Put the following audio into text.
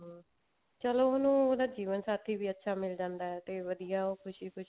ਚਲੋ ਉਹਨੂੰ ਉਹਦਾ ਜੀਵਨ ਸਾਥੀ ਵੀ ਵਧੀਆ ਮਿਲ ਜਾਂਦਾ ਤੇ ਵਧੀਆ ਉਹ ਖੁਸ਼ੀ ਖੁਸ਼ੀ